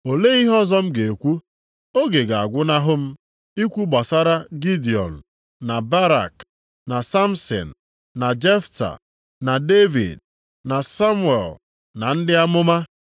Olee ihe ọzọ m ga-ekwu? Oge ga-agwụnahụ m ikwu gbasara Gidiọn, na Barak, na Samsin, na Jefta, na Devid, na Samuel na ndị amụma,